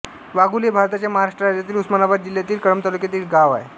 वाघोली हे भारताच्या महाराष्ट्र राज्यातील उस्मानाबाद जिल्ह्यातील कळंब तालुक्यातील एक गाव आहे